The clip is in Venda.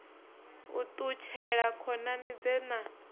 u ṱutshela khonani dze na